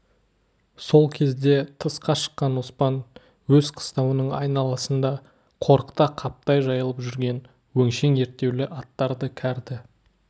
сол кезде тысқа шыққан оспан өз қыстауының айналасында қорықта қаптай жайылып жүрген өңшең ерттеулі аттарды кәрді